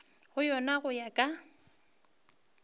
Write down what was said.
go yona go ya ka